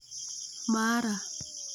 Mara